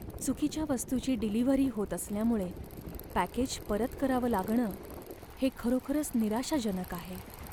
चुकीच्या वस्तूची डिलिव्हरी होत असल्यामुळे पॅकेज परत करावं लागणं हे खरोखरच निराशाजनक आहे.